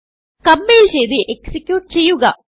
compile ചെയ്ത് execute ചെയ്യുക